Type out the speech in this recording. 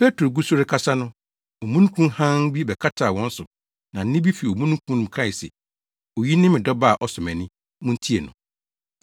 Petro gu so rekasa no, omununkum hann bi bɛkataa wɔn so na nne bi fi omununkum no mu kae se, “Oyi ne me Dɔba a ɔsɔ mʼani. Muntie no!”